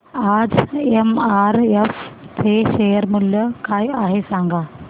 आज एमआरएफ चे शेअर मूल्य काय आहे सांगा